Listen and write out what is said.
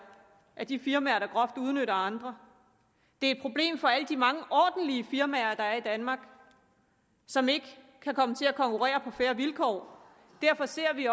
af de firmaer der groft udnytter andre det er et problem for alle de mange ordentlige firmaer der er i danmark som ikke kan komme til at konkurrere på fair vilkår derfor ser vi